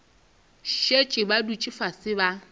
šetše ba dutše fase ba